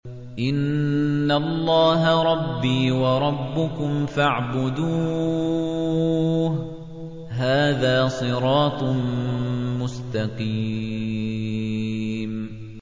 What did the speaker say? إِنَّ اللَّهَ رَبِّي وَرَبُّكُمْ فَاعْبُدُوهُ ۗ هَٰذَا صِرَاطٌ مُّسْتَقِيمٌ